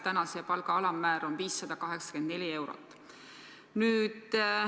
Praegu see palga alammäär on 584 eurot.